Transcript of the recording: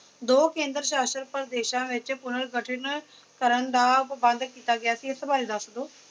ਦੋ ਕੇਦਰ ਸ਼ਾਸ਼ਿਤ ਪ੍ਰਦੇਸਾਂ ਵਿੱਚ ਪੂਰਨ ਗਠਿਤ ਕਰਨ ਦਾ ਪ੍ਰਬੰਧ ਕੀਤਾ ਗਿਆ ਇਸ ਬਾਰੇ ਦੱਸਦੌ